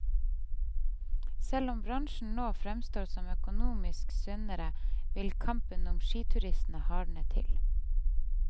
Selv om bransjen nå fremstår som økonomisk sunnere, vil kampen om skituristene hardne til.